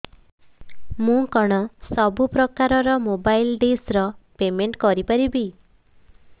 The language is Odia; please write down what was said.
ମୁ କଣ ସବୁ ପ୍ରକାର ର ମୋବାଇଲ୍ ଡିସ୍ ର ପେମେଣ୍ଟ କରି ପାରିବି